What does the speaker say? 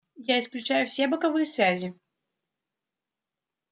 я исключаю все боковые связи